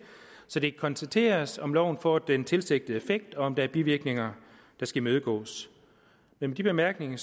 så det kan konstateres om loven får den tilsigtede effekt eller om der er bivirkninger der skal imødegås med de bemærkninger